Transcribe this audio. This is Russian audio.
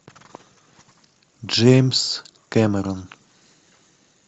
джеймс кэмерон